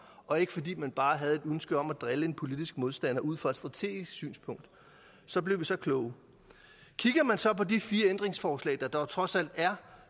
og ikke fordi man bare havde et ønske om at drille en politisk modstander ud fra et strategisk synspunkt så blev vi så kloge kigger man så på de fire ændringsforslag der dog trods alt er